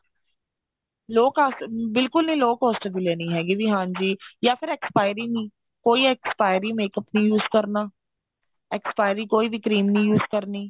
low cost ਬਿਲਕੁਲ ਨਹੀਂ low cost ਦੀ ਲੇਣੀ ਹੈਗੀ ਵੀ ਹਾਂਜੀ ਜਾ ਫੇਰ expiry ਕੋਈ expiry makeup ਨਹੀਂ use ਕਰਨਾ expiry ਕੋਈ ਵੀ cream ਨਹੀਂ use ਕਰਨੀ